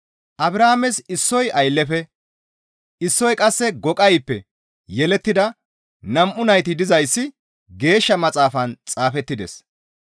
Abrahaames issoy aylleyfe issoy qasse goqayppe yelettida nam7u nayti dizayssi Geeshsha Maxaafan xaafettides.